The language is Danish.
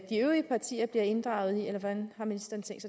de øvrige partier bliver inddraget i eller hvordan har ministeren tænkt